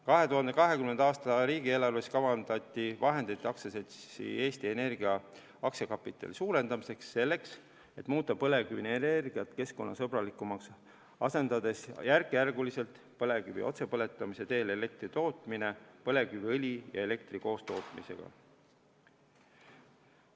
2020. aasta riigieelarves kavandati vahendeid aktsiaseltsi Eesti Energia aktsiakapitali suurendamiseks selleks, et muuta põlevkivienergiat keskkonnasõbralikumaks, asendades põlevkivi otsepõletamise teel elektri tootmine järk-järgult põlevkiviõli ja elektri koostootmisega.